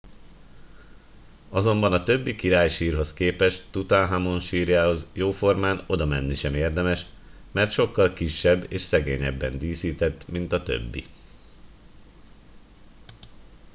azonban a többi királysírhoz képest tutanhamon sírjához jóformán odamenni sem érdemes mert sokkal kisebb és szegényebben díszített mint a többi